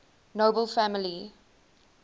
nobel family